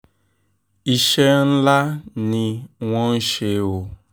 iṣẹ́ ńlá ni wọ́n ń ṣe o